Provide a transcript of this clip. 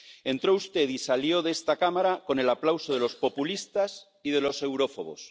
Entró usted y salió de esta Cámara con el aplauso de los populistas y de los eurófobos.